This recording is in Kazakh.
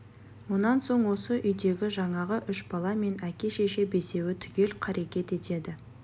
онан соң осы үйдегі жаңағы үш бала мен әке-шеше бесеуі түгел қарекет етеді